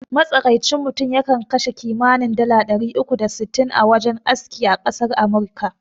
Matsakaicin mutum ya kan kashe kimanin dala ɗari uku da sittin a wajen aski a ƙasar amurika